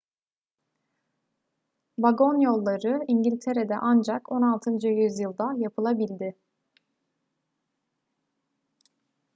vagon yolları i̇ngiltere'de ancak 16. yüzyılda yapılabildi